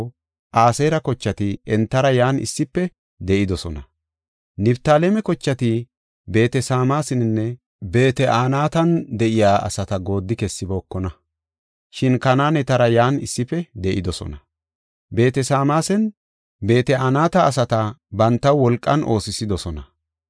Niftaaleme kochati Beet-Sameesaninne Beet-Anaatan de7iya asata gooddi kessibookona; shin Kanaanetara yan issife de7idosona. Beet-Sameesanne Beet-Anata asata bantaw wolqan oosisidosona.